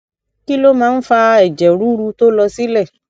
kí ló máa ń fa ẹjẹ ruru to lo sile